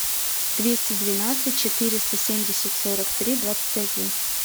двести двенадцать четыреста семьдесят сорок три двадцать один